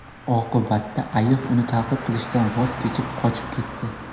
Oqibatda ayiq uni ta’qib qilishdan voz kechib, qochib ketdi.